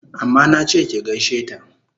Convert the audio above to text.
Amma nache ki gaishe ta!